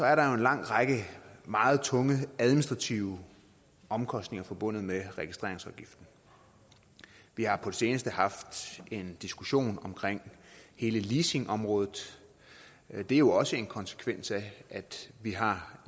er der jo en lang række meget tunge administrative omkostninger forbundet med registreringsafgiften vi har på det seneste haft en diskussion om hele leasingområdet det er jo også en konsekvens af at vi har